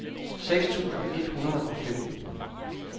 seks tusind et hundrede og femten